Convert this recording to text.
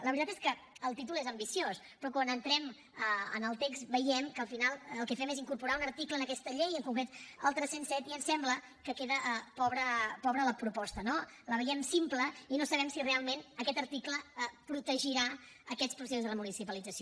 la veritat és que el títol és ambiciós però quan entrem en el text veiem que al final el que fem és incorporar un article en aquesta llei en concret el tres cents i set i em sembla que queda pobra la proposta no la veiem simple i no sabem si realment aquest article protegirà aquests processos de remunicipalització